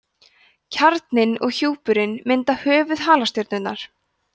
kjarninn og hjúpurinn mynda höfuð halastjörnunnar